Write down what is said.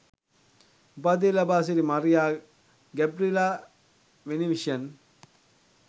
උපාධිය ලබා සිටි මරියා ගැබ්රිඑලා වෙනිවිෂන්